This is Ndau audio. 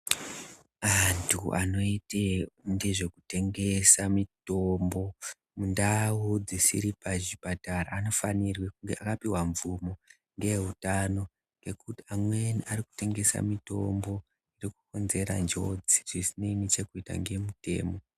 Andu anoite ngezvekutengesa mutombo mundau dzisiri pachipatara anofanirwe akapiwa mvumo ngeveutano nekuti vamweni arikutengesa mutombo unokonzera njodzi dzisine nechekuita nemutemo